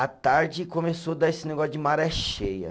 A tarde começou dar esse negócio de maré cheia.